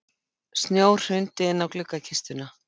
Snjór hrundi inn á gluggakistuna.